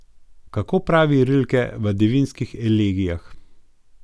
Kako pravi Rilke v Devinskih elegijah?